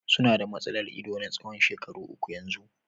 Su na da matsalar ido na tsawon shekaru uku yanzu.